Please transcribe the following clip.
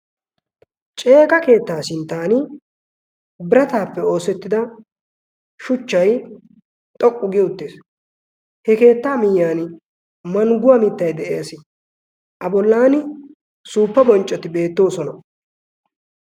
Ceeqa keettaa sinttan birataappe oossettida shuchchay xoqqu giyo uttees. he keettaa miyyan mangguwaa mittai de'ees. a bollan suuppa bonccoti beettoosona.